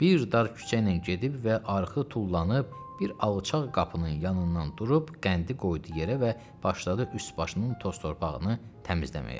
Bir dar küçə ilə gedib və arxı tullanıb bir alçaq qapının yanından durub qəndi qoydu yerə və başladı üst-başının toz-torpağını təmizləməyə.